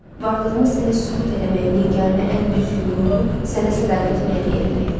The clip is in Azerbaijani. Varlığımı sənə sübut eləməyin yeganə, ən düzgün yolu sənə sədaqətimi hədiyyə eləməkdir.